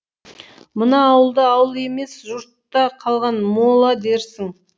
мына ауылды ауыл емес жұртта қалған мола дерсің